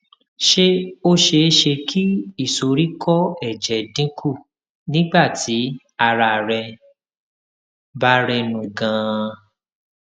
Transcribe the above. ṣé ó ṣeé ṣe kí ìsoríkó èjè dín kù nígbà tí ara rẹ bá rẹnu ganan